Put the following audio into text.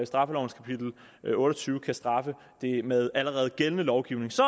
straffelovens kapitel otte og tyve kan straffe det med allerede gældende lovgivning så